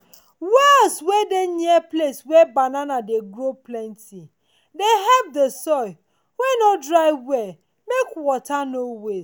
wells wey dey near place wey banana dey grow plenty dey help the soil wey nor dry well make water no waste.